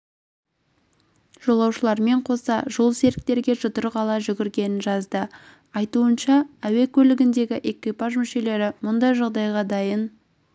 жолаушылармен қоса жолсеріктерге жұдырық ала жүгіргенін жазды айтуынша әуе көлігіндегі экипаж мүшелері мұндай жағдайға дайын